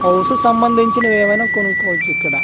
House కి సంబందించినవి ఏవైనా కొనుకోవచ్చు ఇక్కడ .